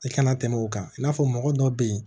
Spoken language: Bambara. I kana tɛmɛ o kan i n'a fɔ mɔgɔ dɔ bɛ yen